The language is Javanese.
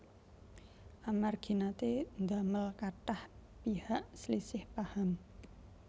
Amargi naté ndamel kathah pihak slisih paham